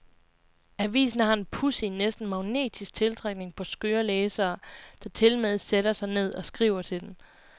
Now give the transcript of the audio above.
Avisen har en pudsig, næsten magnetisk tiltrækning på skøre læsere, der tilmed sætter sig ned og skriver til den.